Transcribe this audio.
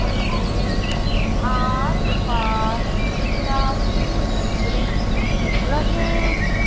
के आसपास काफी वृक्ष लगे--